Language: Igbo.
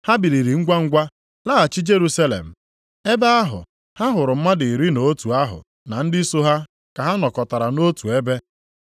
Ha biliri ngwangwa laghachi Jerusalem. Ebe ahụ, ha hụrụ mmadụ iri na otu ahụ na ndị so ha ka ha nọkọtara nʼotu ebe,